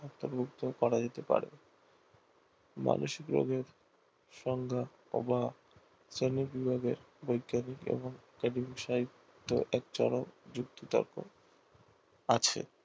অন্তর্ভুক্ত করা যেতে পারে মানসিক রজার সংজ্ঞা বা শ্রেণীবিভাগের বৈজ্ঞানিক এবং সাহিত্য এক চরম যুক্তি তর্ক আছে